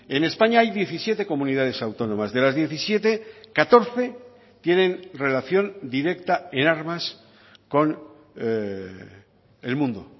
en españa hay diecisiete comunidades autónomas de las diecisiete catorce tienen relación directa en armas con el mundo